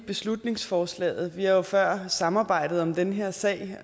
beslutningsforslaget vi har jo før samarbejdet om den her sag